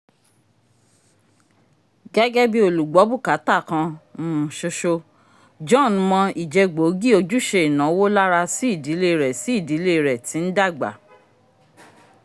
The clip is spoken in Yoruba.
gẹ́gẹ́ bí olùgbọ̀bukatà kan um ṣoṣo john mọ̀ ìje gbóògì ojúṣe ìnáwó lára sí ìdílé rẹ̀ sí ìdílé rẹ̀ tí ń dàgbà